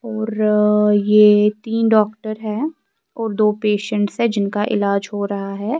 .اورآ یہ تین ڈاکٹر ہیں اور دو پیشنٹس ہیں جنکا الاز ہو رہا ہیں